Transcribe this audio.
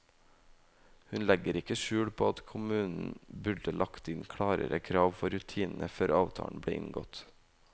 Hun legger ikke skjul på at kommunen burde lagt inn klarere krav for rutinene før avtalen ble inngått.